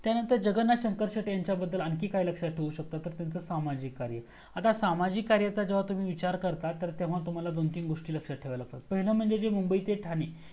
जगन्नाथ शंकर शेटे ह्याच्याबद्दल आणखीन काही लक्षात ठेवू शकता तर त्यांच सामाजिक कार्य. आता सामाजिक कार्याविषयी जेव्हा तुम्ही विचार करता तेव्हा तुम्हाला दोन तीन गोस्टी लक्षात ठेवाव्या लागतात पहिलं म्हणजे जे मुंबई ते ठाणे